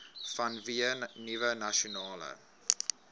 vanweë nuwe nasionale